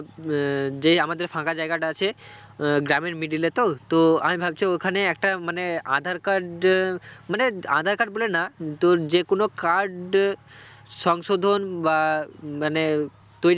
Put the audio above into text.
উম আহ যে এই আমাদের ফাঁকা জায়গাটা আছে আহ গ্রামের middle এ তো তো আমি ভাবছি ওখানে একটা মানে আঁধার card এ মানে আঁধার card বলে না তোর যেকোন card সংশোধন বা মানে